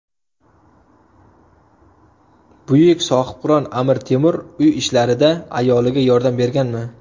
Buyuk sohibqiron Amir Temur uy ishlarida ayoliga yordam berganmi?